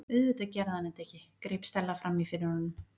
Auðvitað gerði hann þetta ekki- greip Stella fram í fyrir honum.